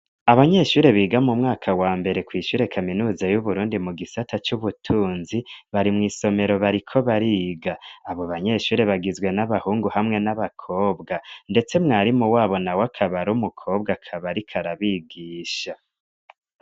Abanyeshure biga mu mwaka wa mbere kw'ishure kaminuza y'Uburundi mu gisata c'ubutunzi, bari mw'isomero bariko bariga. Abo banyeshure bagizwe n'abahungu hamwe n'abakobwa, ndetse mwarimu wabo nawe akaba ar'umukobwa, akaba ariko arabigisha.